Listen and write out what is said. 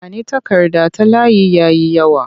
Ba ni takarda ta layi ya yi yawa!